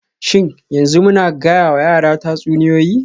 Shin yanzu muna gayawa yaran tatsuniyoyi??